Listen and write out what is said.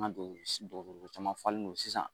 An ka don dɔgɔtɔrɔso caman falen don sisan